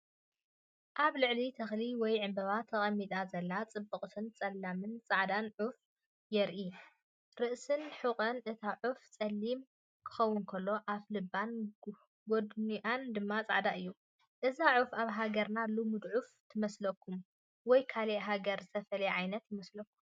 ኣብ ልዕሊ ተኽሊ ወይ ዕምባባ ተቐሚጣ ዘላ ጽብቕቲ ጸላምን ጻዕዳን ዑፍ የርኢ። ርእስን ሕቖን እታ ዑፍ ጸሊም ክኸውን ከሎ፤ ኣፍልባን ጐድኒኣን ድማ ጻዕዳ እዩ። እዛ ዑፍ ኣብ ሃገርና ልሙድ ዑፍ ትመስለኩም? ወይስ ካልእ ሃገር ዝተፈልየ ዓይነት ይመስለኩም?